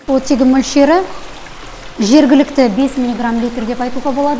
оттегі мөлшері жергілікті бес миллиграм литр деп айтуға болады